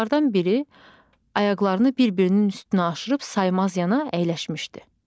Onlardan biri ayaqlarını bir-birinin üstünə aşırıb saymazyana əyləşmişdi.